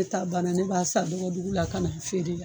Ne ta banna ne b'a san dɔgɔ dugu la kan'a feere ya